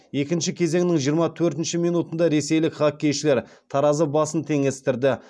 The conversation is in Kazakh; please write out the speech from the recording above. екінші кезеңнің жиырма төртінші минутында ресейлік хоккейшілер таразы басын теңестірді